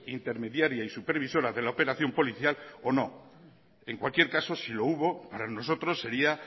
intermediaria y supervisora de la operación policial o no en cualquier caso si lo hubo para nosotros sería